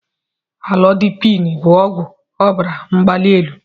Amụlodipin bụ ọgwụ ọbara mgbali elu.